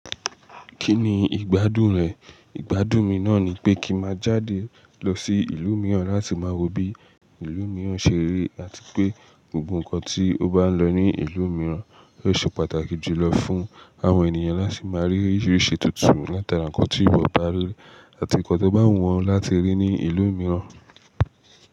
Kí ni ìgbádùn rẹ̀? Ìgbádùn mi náà ni pé kí má jáde lọ sí ìlú mìíràn láti má rò bí ìlú mìíràn ṣe rí àti pé gbogbo nǹkan tí ó bá lọ ní ìlú mìíràn yóò ṣe pàtàkì jùlọ fún àwọn ènìyàn láti má rí oríṣìíríṣìí tuntun látara nǹkan tí ìbò bá rí àti nǹkan tó bá wù wọ́n láti rí ní ìlú mìíràn.